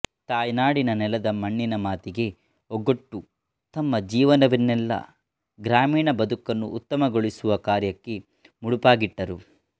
ತಾಯ್ನಾಡಿನ ನೆಲದ ಮಣ್ಣಿನಮಾತಿಗೆ ಓಗೊಟ್ಟು ತಮ್ಮ ಜೀವನವನ್ನೆಲ್ಲಾ ಗ್ರಾಮೀಣ ಬದುಕನ್ನು ಉತ್ತಮಗೊಳಿಸುವ ಕಾರ್ಯಕ್ಕೆ ಮುಡುಪಾಗಿಟ್ಟರು